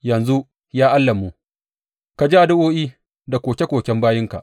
Yanzu, ya Allahnmu, ka ji addu’o’i da koke koken bayinka.